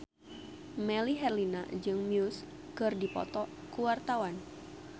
Melly Herlina jeung Muse keur dipoto ku wartawan